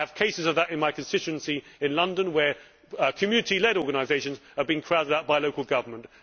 I have cases of that in my constituency in London where community led organisations have been crowded out by local government.